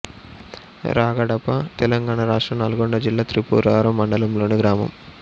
రాగడప తెలంగాణ రాష్ట్రం నల్గొండ జిల్లా త్రిపురారం మండలంలోని గ్రామం